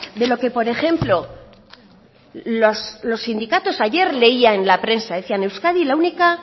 de lo que por ejemplo los sindicatos ayer leía en la prensa decía euskadi la única